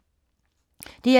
DR2